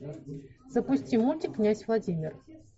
запусти мультик князь владимир